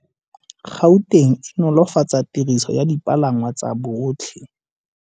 Gauteng e nolofatsa tiriso ya dipalangwa tsa botlhe.